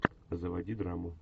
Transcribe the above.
заводи драму